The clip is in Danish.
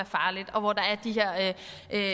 er